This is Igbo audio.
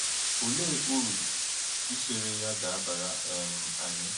Olee uru ichere ya ga-abara um anyị?